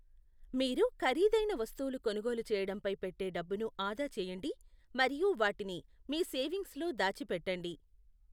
మీరు ఖరీదైన వస్తువులు కొనుగోలు చేయడంపై పెట్టే డబ్బును ఆదా చేయండి మరియు వాటిని మీ సేవింగ్స్లో దాచిపెట్టండి.